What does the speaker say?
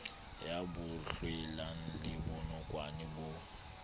ya bohlwela le bonokwane bo